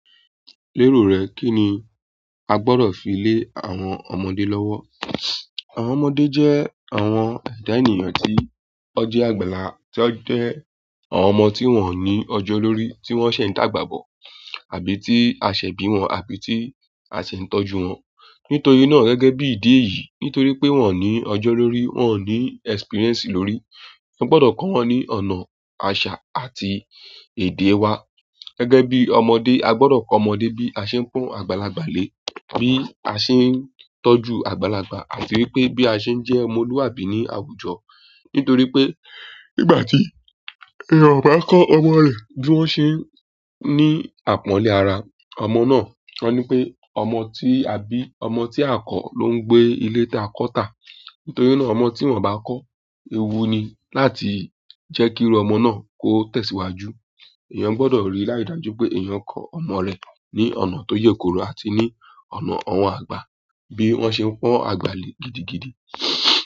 Lérò rẹ, kí ni a gbọ́dọ̀ fi lé àwọn ọmọdé lọ́wọ́? Àwọn ọmọdé jẹ́ àwọn ẹ̀dá ènìyàn tí ó jẹ́ àgbàlá, tí ó jẹ́ àwọn ọmọ tí wọ́n ò ní ọjọ́ lórí, tí wọ́n ṣẹ̀ n tàgbàbọ̀, àbí tí a ṣẹ̀ bí wọn, àbí tí a ṣẹ̀ n tọ́jú wọn. Nítorí náà gẹ́gẹ́ bí ìdí èyí, nítorí pé wọ́n ò ní ọjọ́ lórí, wọ́n ò ní ẹ́sípíríẹ́nsì lórí, won gbọ́dọ̀ kọ́ wọn ní ọ̀nà, àṣà àti èdè wa. Gẹ́gẹ́ bí ọmọdé, a gbọ́dọ̀ pon ọmọdé bí a ṣe ń pọn àgbàlagbà lé, bí a ṣe ń tọ́jú àgbàlagbà, àti wípé bí a ṣe ń jẹ́ ọmọlúwàbí ní àwùjọ. Nítorí pé nígbà tí èèyàn ò bá kọ́ ọmọ rẹ̀ bí wọ́n ṣe ń ní àpọ́nlé ara, ọmọ náà, won ni pé ọmọ tí, àbí ọmọ tí a o kọ́ ló ń gbé ilé da kọ́ tà. Nítorí náà ọmọ tí wọ́n bá kọ́, ewú ni láti jẹ́ kí irú ọmọ náà kó tẹ̀síwájú. Ẹ̀yàn gbọ́dọ̀ rí láìdaájú pé èèyàn kọ ọmọ rẹ̀ ní ọ̀nà tó yèkoro àti ní ọ̀nà àwọn àgbà bí wọ́n ṣe ń pọ́n àgbà lé gidigidi.